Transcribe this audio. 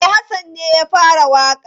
E, Hassan ne ya fara waƙa.